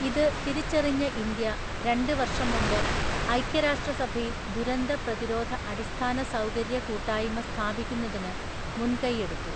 ഇത് തിരിച്ചറിഞ്ഞ ഇന്ത്യ രണ്ട് വര്ഷം മുമ്പ് ഐക്യരാഷ്ട്രസഭയില്‍ ദുരന്ത പ്രതിരോധ അടിസ്ഥാന സൗകര്യ കൂട്ടായ്മ സ്ഥാപിക്കുന്നതിന് മുന്‍കൈയെടുത്തു.